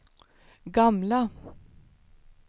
gamla